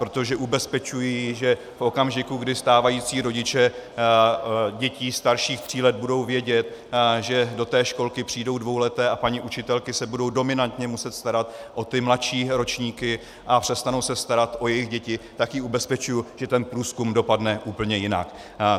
Protože ubezpečuji, že v okamžiku, kdy stávající rodiče dětí starších tří let budou vědět, že do té školky přijdou dvouleté a paní učitelky se budou dominantně muset starat o ty mladší ročníky a přestanou se starat o jejich děti, tak ji ubezpečuji, že ten průzkum dopadne úplně jinak.